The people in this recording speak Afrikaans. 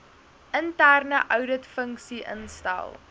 interne ouditfunksie instel